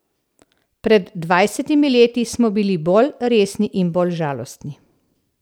Pred dvajsetimi leti smo bili bolj resni in bolj žalostni.